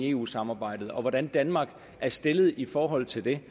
eu samarbejdet og hvordan danmark er stillet i forhold til det